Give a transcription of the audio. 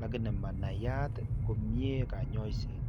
lakini manaiyat komyee kanyoiseet